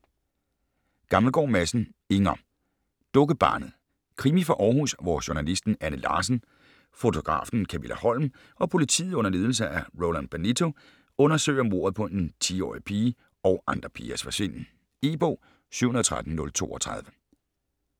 Gammelgaard Madsen, Inger: Dukkebarnet Krimi fra Århus, hvor journalisten Anne Larsen, fotografen Kamilla Holm og politiet under ledelse af Roland Benito undersøger mordet på en 10-årig pige og andre pigers forsvinden. E-bog 713032 2013.